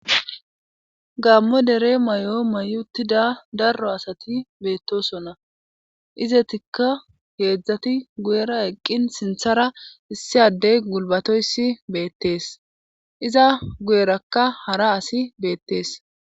Gaammo dere may'o mayutida darro asati beettosonna izetikka heedzdzati guyera eqqin sinthara issi addey gulbatoyssi beettees iza guyerakka hara asi beettees